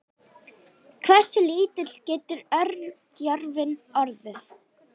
hversu lítill getur örgjörvinn orðið